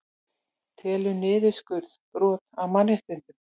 Telur niðurskurð brot á mannréttindum